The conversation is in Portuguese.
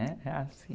É, é assim.